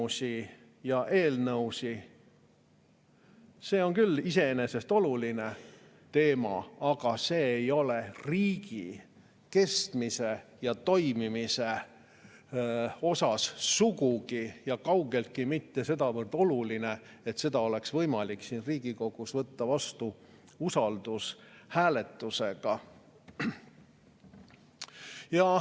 See on küll iseenesest olulisel teemal, aga see ei ole riigi kestmise ja toimimise mõttes kaugeltki mitte sedavõrd oluline, et seda oleks võimalik siin Riigikogus võtta vastu usaldushääletusega.